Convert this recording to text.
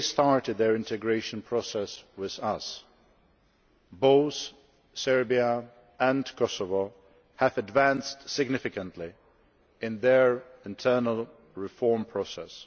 they started their integration process with us, both Serbia and Kosovo have advanced significantly in their internal reform process.